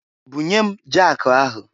Bunye m jakụ ahụ!